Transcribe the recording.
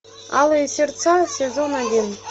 алые сердца сезон один